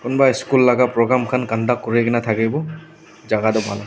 kunba school laka program khan conduct kurina thakiwo jaka toh bhal ase.